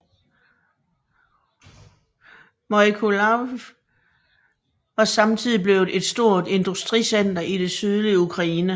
Mykolajiv var samtidig blevet et stort industricenter i det sydlige Ukraine